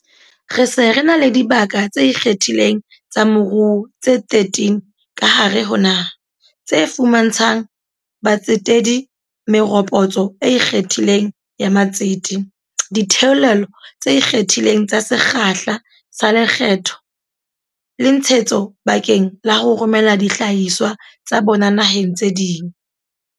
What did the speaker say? Re se re na le dibaka tse ikgethileng tsa moruo tse 13 ka hare ho naha, tse fuma ntshang batsetedi meropotso e ikgethang ya matsete, ditheolelo tse ikgethang tsa sekgahla sa lekgetho le tshe hetso bakeng la ho romela dihlahiswa tsa bona naheng tse ding.